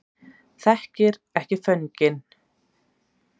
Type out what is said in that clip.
Þekkir ekki fögnin